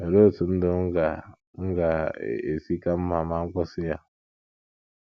Olee otú ndụ m ga - m ga - esi ka mma ma m kwụsị ya?